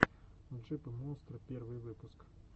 джипы монстры первый выпуск